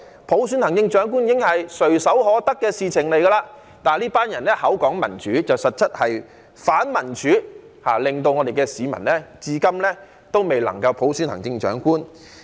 普選行政長官本來已經是垂手可得的事情，但是這群人口裏說民主，實質是反民主，令市民至今未能夠普選行政長官。